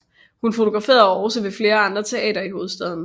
Hun fotograferede også ved flere andre teatre i hovedstaden